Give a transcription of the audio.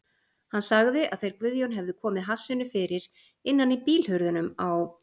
Hann sagði að þeir Guðjón hefðu komið hassinu fyrir innan í bílhurðunum á